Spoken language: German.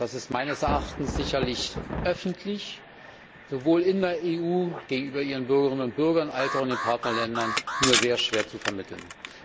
Das ist meines Erachtens sicherlich öffentlich sowohl in der EU gegenüber ihren Bürgerinnen und Bürgern als auch in den Partnerländern nur sehr schwer zu vermitteln.